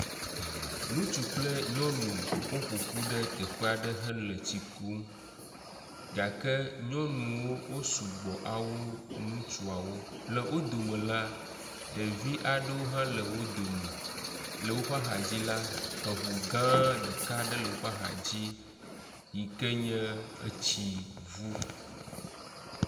Ŋutsu kple nyɔnu woƒoƒu ɖe teƒe aɖe hele tsi kum. Gake nyɔnuwo sɔgbɔ wu ŋutsuawo. Le wo dome la, ɖevi aɖewo hã le wo dome. Le woƒe axadzi la, eŋu gã aɖe ɖeka le woƒe axadzi yi ke nye etsi ŋu.